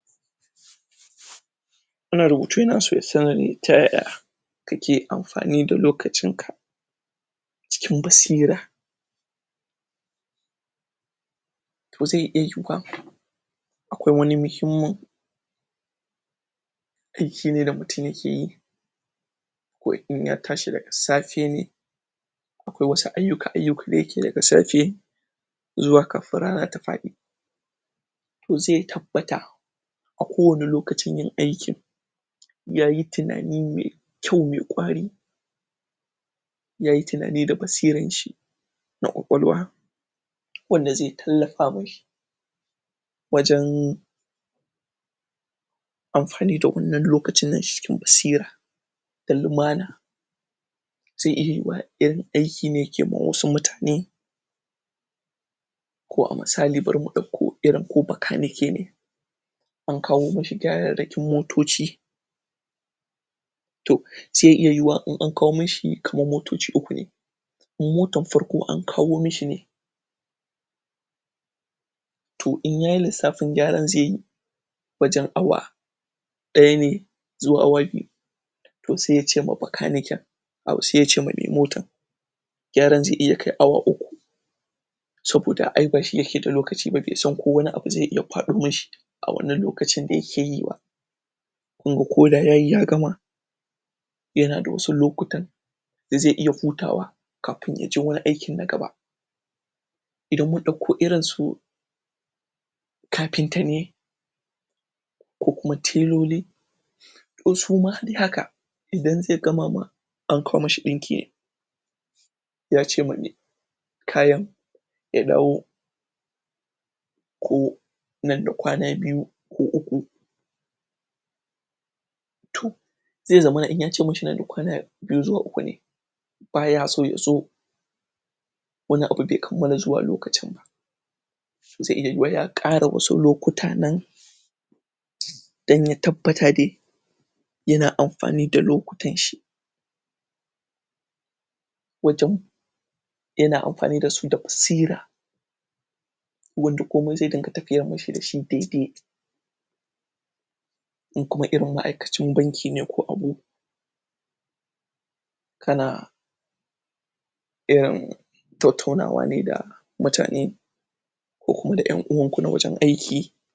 Wannan rubutu yana so ya san ta yaya Kake amfani da lokacin ka Cikin basira Zai iya yuwa Akwai wani muhimmin Aiki ne da mutum yake yi Aiki ko in ya tashi daga safe Ko wasu ayuka ayuka da yake da safe Zuwa kafin rana ta faɗi Toh zai tabbata A kowane lokacin yin aikin Yayi tunani mai kwau mai kwari Yayi tunani da basiranshi Da kwakwalwa Wanda zai tallafa mashi Wajen Amfani da wannan lokacin yinshi cikin basira Da lumana Zai iya yuwa en aiki ne yake ma wasu mutane Ko a misali bara mu ɗauko irin ko bakanike ne An kawo mashi gyararrakin motoci To, Zai iya yuwa in an kawo mashi kamar motociuku ne, Motan farko an kawo mashi ne To inyayi lissafin gyaran zai yi Wajen awa ɗaya ne Zuwa awa biyu To sai yace ma bakaniken Au sai yace ma mai motan Gyaran zai iya kai awa uku Saboda aibashi yake da lokaci ba bai san ko wani abu zai iya paɗo mashi A wannan lokaci da yake yiba kunga koda yayi ya gama Yanada wasu lokutan Da zai iya futawa Kafin yaje wani aikin na gaba Idan ya dauko irin su Kapinta ne Ko kuma teloli Toh suma dai haka idan zai gama ma An kawo mashi dinki Yace ma mai kayan Ya dawo ko Nan da kwana biyu Ko uku toh zai zamana inyace mashi nan da kwana Biyu zuwa uku baya so yazo wannan abu bai kammala zuwa lokacin ba so ai iya yuwa ya ƙara wasu lokuta nan dan ya tabbata dai Yana amfani da lokutan shi Wajen Yana amfani dasu da basira Yanda komai zai dinga tafiya mashi dai dai In kuma irin ma'aikacin banki ne ko Kana Tattauna wane da, Mutane Ko kuma ƴan uwanku na wujen aiki.